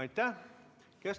Aitäh!